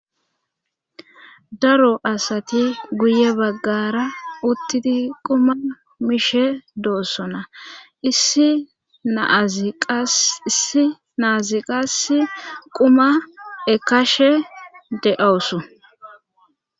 Daro asati guye baggara uttiti quma mishe doossona issi na7aziqas quma ekashe de7awusu